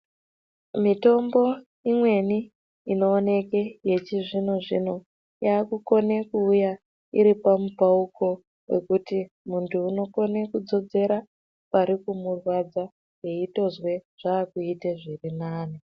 Mitombo imweni inoonekwe yechizvino-zvino yaakukone kuuya iripamupauko wekuti muntu unokone kudzodzera parikumurwadza eitozwe zvaakuite zvirinani.